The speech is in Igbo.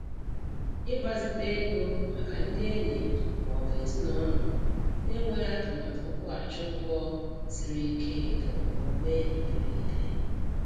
Ịgbazite ego maka ndị enyi ma ọ bụ ezinụlọ na-enweghị atụmatụ nkwụghachi ụgwọ siri ike bụ omume iberiibe.